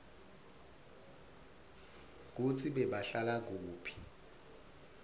kutsi bebahlala kuphi